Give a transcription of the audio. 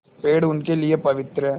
पेड़ उनके लिए पवित्र हैं